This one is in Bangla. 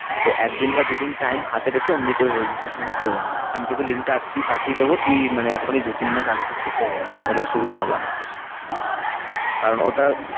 তো এক দিন বা দু দিন time হাতে রেখে ওমনি করে registration টা করে নিবি। আমি তোকে link টা আজকেই পাঠিয়ে দেবো। তুই মানে এখনই দু তিন মাস আগে থাকতেই করে রাখ তাহলে সুবিধা হবে অনেক বেশ কারণ ওটা